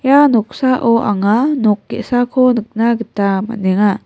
ia noksao anga nok ge·sako nikna gita man·enga.